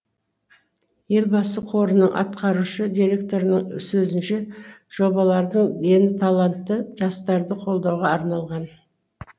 елбасы қорының атқарушы директорының сөзінше жобалардың дені талантты жастарды қолдауға арналған